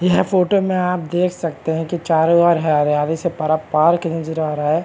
यह फोटो में आप देख सकते हैं कि चारों ओर हरियाली से पारा पार्क नजर आ रहा है।